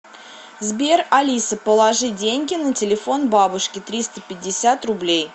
сбер алиса положи деньги на телефон бабушке триста пятьдесят рублей